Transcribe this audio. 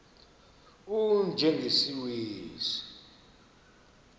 u y njengesiwezi